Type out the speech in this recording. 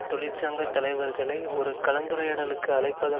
தொழிற்சங்க தலைவர்களை ஒரு கலந்துரையாடலுக்கு அழைப்பதன்